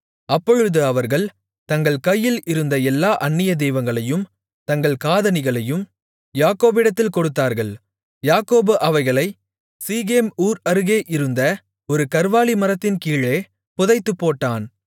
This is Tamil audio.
அப்பொழுது அவர்கள் தங்கள் கையில் இருந்த எல்லா அந்நிய தெய்வங்களையும் தங்கள் காதணிகளையும் யாக்கோபிடத்தில் கொடுத்தார்கள் யாக்கோபு அவைகளை சீகேம் ஊர் அருகே இருந்த ஒரு கர்வாலி மரத்தின்கீழே புதைத்துப்போட்டான்